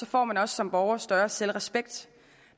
får man også som borger større selvrespekt